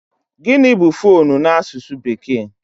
Gịnị bụ foonu n'asụsụ bekee?